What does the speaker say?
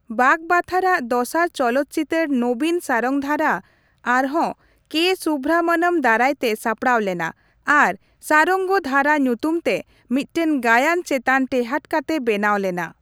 ᱵᱟᱜᱵᱟᱛᱷᱟᱨᱟᱜ ᱫᱚᱥᱟᱨ ᱪᱚᱞᱚᱛ ᱪᱤᱛᱟᱹᱨ ᱱᱚᱵᱤᱱ ᱥᱟᱨᱚᱝᱜᱚᱫᱷᱟᱨᱟ ᱟᱨᱦᱚᱸ ᱠᱮᱹ ᱥᱩᱵᱷᱨᱟᱢᱢᱚᱱᱚᱢ ᱫᱟᱨᱟᱭ ᱛᱮ ᱥᱟᱯᱲᱟᱣ ᱞᱮᱱᱟ ᱟᱨ ᱥᱟᱨᱚᱝᱜᱫᱷᱟᱨᱟ ᱧᱩᱛᱩᱢ ᱛᱮ ᱢᱤᱫᱴᱮᱱ ᱜᱟᱭᱟᱱ ᱪᱮᱛᱟᱱ ᱴᱮᱦᱟᱴ ᱠᱟᱛᱮ ᱵᱮᱱᱟᱣ ᱞᱮᱱᱟ ᱾